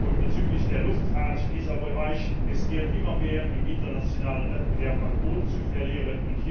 Und bezüglich der Luftfahrt, dieser Bereich riskiert immer mehr, im internationalen Wettbewerb an Boden zu verlieren.